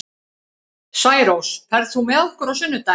Særós, ferð þú með okkur á sunnudaginn?